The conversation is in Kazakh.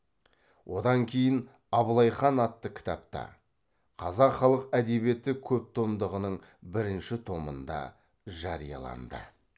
одан кейін абылай хан атты кітапта қазақ халық әдебиеті көптомдығының бірінші томында жарияланды